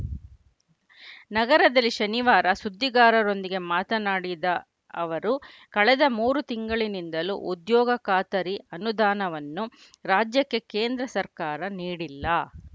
ನಗರದಲ್ಲಿ ಶನಿವಾರ ಸುದ್ದಿಗಾರರೊಂದಿಗೆ ಮಾತನಾಡಿದ ಅವರು ಕಳೆದ ಮೂರು ತಿಂಗಳಿನಿಂದಲೂ ಉದ್ಯೋಗ ಖಾತರಿ ಅನುದಾನವನ್ನು ರಾಜ್ಯಕ್ಕೆ ಕೇಂದ್ರ ಸರ್ಕಾರ ನೀಡಿಲ್ಲ